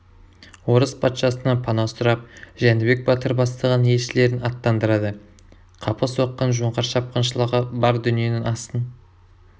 орыс патшасынан пана сұрап жәнібек батыр бастаған елшілерін аттандырады қапы соққан жоңғар шапқыншылығы бар дүниенің астын